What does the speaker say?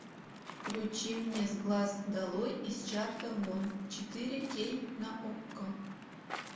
включи мне с глаз долой из чарта вон четыре кей на окко